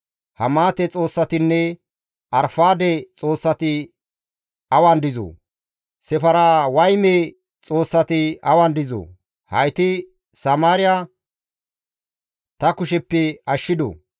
Hamaate xoossatinne Arfaade xoossati awan dizoo? Sefarwayme xoossati awan dizoo? Hayti Samaariya ta kusheppe ashshidoo?